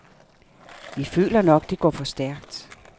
Vi føler nok, det går for stærkt.